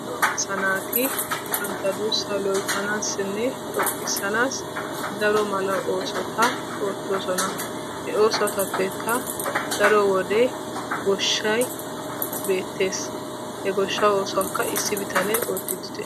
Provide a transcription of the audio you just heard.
Lo"o asaa naati banta duussa loyttanaassinne xoqqissnaassi daro mala oosota oottoosona. He oosotappekka daro wode gooshshay bettees. He goshshaa oosuwaakka issi bitane oottidi dees.